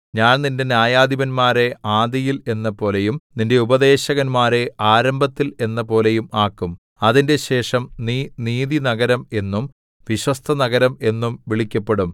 ഞാൻ നിന്റെ ന്യായാധിപന്മാരെ ആദിയിൽ എന്നപോലെയും നിന്റെ ഉപദേശകന്മാരെ ആരംഭത്തിൽ എന്നപോലെയും ആക്കും അതിന്‍റെശേഷം നീ നീതിനഗരം എന്നും വിശ്വസ്തനഗരം എന്നും വിളിക്കപ്പെടും